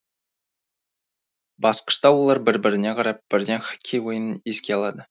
басқышта олар бір біріне қарап бірден хоккей ойынын еске алды